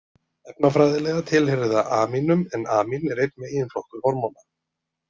Efnafræðilega tilheyrir það amínum en amín eru einn meginflokkur hormóna.